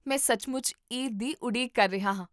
ਮੈਂ ਸੱਚਮੁੱਚ ਈਦ ਦੀ ਉਡੀਕ ਕਰ ਰਿਹਾ ਹਾਂ